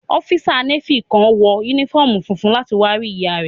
Ọ́físà Nééfì kan wọ yúnífọ́ọ̀mù funfun láti wá rí ìyá rẹ̀